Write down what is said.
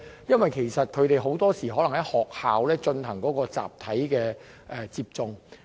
因為很多時，他們是在學校進行集體接種的。